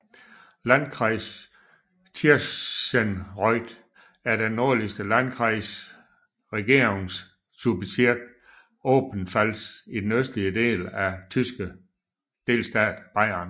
Landkreis Tirschenreuth er den nordligste Landkreis i Regierungsbezirk Oberpfalz i den østligste del af den tyske delstat Bayern